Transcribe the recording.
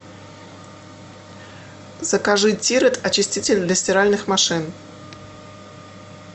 закажи тирет очиститель для стиральных машин